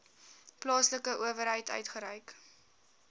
plaaslike owerheid uitgereik